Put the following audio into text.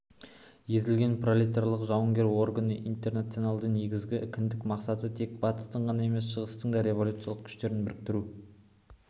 езілген пролетариаттың жауынгер органы интернационалдың негізгі кіндік мақсаты тек батыстың ғана емес шытыстың да революциялық күштерін біріктіру